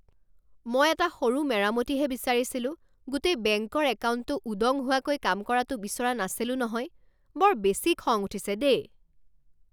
মই এটা সৰু মেৰামতিহে বিচাৰিছিলোঁ, গোটেই বেংকৰ একাউণ্টটো উদং হোৱাকৈ কাম কৰাটো বিচৰা নাছিলো নহয়! বৰ বেছি খং উঠিছে দেই।